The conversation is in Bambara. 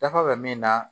Dafa bɛ min na